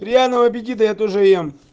приятного аппетита я тоже ем